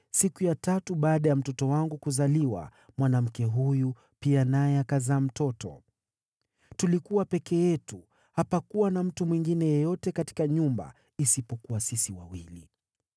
Siku ya tatu baada ya mtoto wangu kuzaliwa, mwanamke huyu pia naye akazaa mtoto. Tulikuwa peke yetu, hapakuwa na mtu mwingine yeyote katika nyumba isipokuwa sisi wawili.